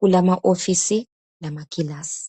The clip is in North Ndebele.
kulama office lamakilasi